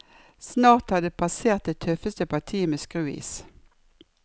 Snart har de passert det tøffeste partiet med skruis.